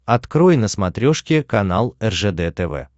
открой на смотрешке канал ржд тв